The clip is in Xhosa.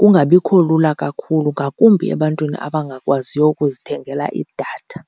kungabikho lula kakhulu, ngakumbi ebantwini abangakwaziyo ukuzithengela idatha.